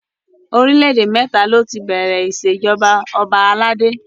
Orílẹ̀ èdè mẹ́ta ni ó ti bẹ̀rẹ̀ ìṣèjọba ọba aládé.